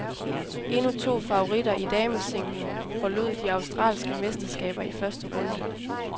Endnu to favoritter i damesingle forlod de australske mesterskaber i første runde.